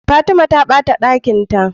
Fatima ta bata Ɗakinta